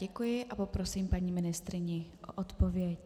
Děkuji a poprosím paní ministryni o odpověď.